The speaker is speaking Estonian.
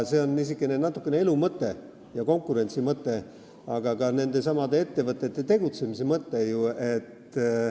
See on natukene niisugune elu ja konkurentsi mõte, aga ka nendesamade ettevõtete tegutsemise mõte.